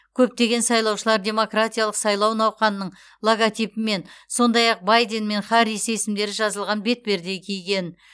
көптеген сайлаушылар демократиялық сайлау науқанының логотипімен сондай ақ байден мен харрис есімдері жазылған бетперде киген